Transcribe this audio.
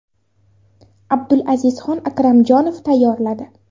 Abdulazizxon Akramjonov tayyorladi.